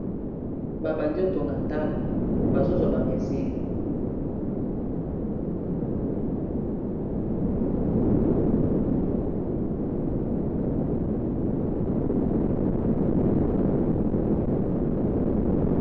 Babandi kotonga ndako bazozwa ba mesure